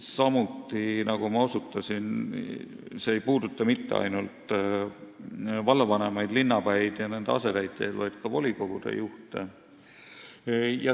Samuti, nagu ma osutasin, ei puuduta see mitte ainult vallavanemaid, linnapäid ja nende asetäitjaid, vaid ka volikogude juhte.